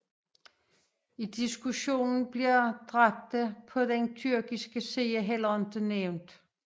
I diskussionen bliver dræbte på den tyrkiske side heller ikke nævnt